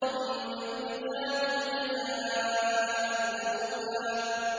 ثُمَّ يُجْزَاهُ الْجَزَاءَ الْأَوْفَىٰ